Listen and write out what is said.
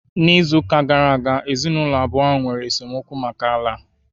N'izuụka gara aga, ezinụlọ abụọ a nwere esemokwu maka ala